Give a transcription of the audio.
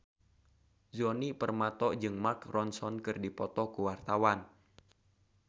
Djoni Permato jeung Mark Ronson keur dipoto ku wartawan